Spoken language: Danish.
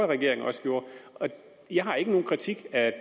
regering også gjorde jeg har ikke nogen kritik af